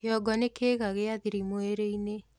kĩongo ni kiiga gia thiri mwĩrĩ-ini